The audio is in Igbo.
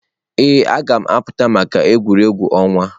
Ee, m ga-apụta maka egwuregwu ọnwa.